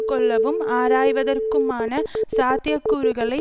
கொள்ளவும் ஆராய்வதற்குமான சாத்திய கூறுகளை